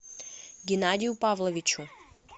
геннадию павловичу